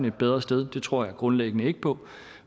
et bedre sted det tror jeg grundlæggende ikke på